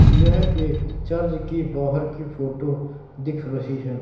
यह एक चर्ज की बाहर की फोटो दिख रही है।